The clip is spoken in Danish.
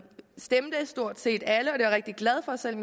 stemte stort set alle og jeg rigtig glad for selv